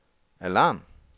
alarm